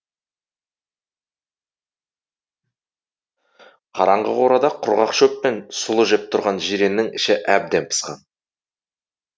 қараңғы қорада құрғақ шөп пен сұлы жеп тұрған жиреннің іші әбден пысқан